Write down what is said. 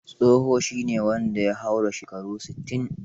Tsoho shi ne wanda ya haura shekara sittin.